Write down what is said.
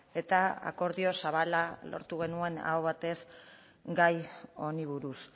eta akordio zabala lortu genuen aho batez gai honi buruz